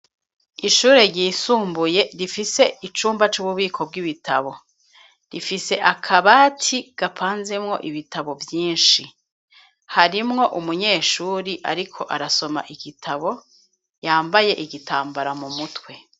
Ishure ryisumbuye, rifise icumba, c'ububiko bw'ibitabo; rifise akabati, gapanzemwo ibitabo, vyinshi; harimwo umunyeshuri, ariko arasoma igitabo, yambaye igitambara, mu mutwe.